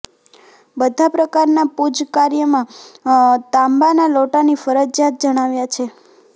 બધા પ્રકારના પૂજ કાર્યમાં તાંબાના લોટાને ફરજિયાત જણાવ્યા છે